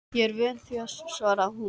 Ég er vön því, svaraði hún.